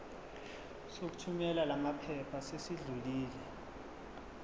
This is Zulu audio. sokuthumela lamaphepha sesidlulile